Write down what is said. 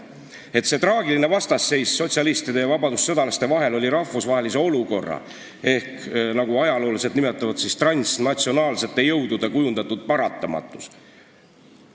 "Ning see traagiline vastasseis sotsialistide ja vabadussõjalaste vahel oli rahvusvahelise olukorra või kui soovite, siis transnatsionaalsete jõudude kujundatud paratamatus.